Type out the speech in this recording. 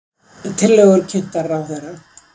Tillögur kynntar ráðherra